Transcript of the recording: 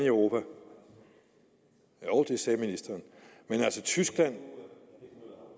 jo det sagde ministeren altså tyskland